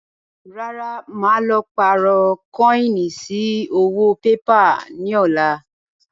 Rárá, màá lọ pààrọ̀ kọ́ínì sí owó pépà ni ọ̀la